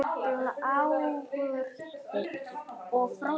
Þær gripu báðar í úlpu